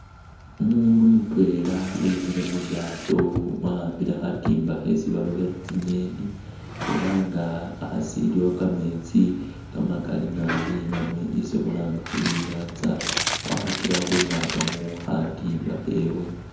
Umundu mutwela wemile mulyaato wakhambile khatimba khesi alobela tsinyeni elanga hasi iliwo kameetsi kamakali naabi namwe isi khulanga khuri inyatsa wakhakilekho khumwatamo khatimba khewe.